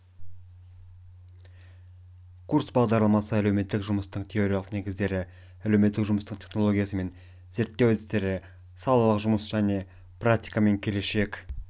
курс бағдарламасы әлеуметтік жұмыстың теориялық негіздері әлеуметтік жұмыстың технологиясы мен зерттеу әдістері салалық жұмыс және практика мен келешек